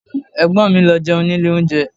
Ẹ̀gbọ́n mi lọ jẹun ní ilé oúnjẹ